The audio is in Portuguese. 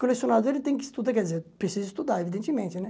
Colecionador, ele tem que estu, quer dizer, precisa estudar, evidentemente, né?